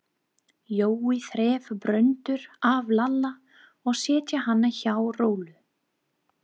Jói þreif Bröndu af Lalla og setti hana hjá Rolu.